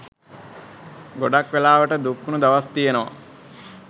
ගොඩක් වෙලාවට දුක්වුණු දවස් තියෙනවා.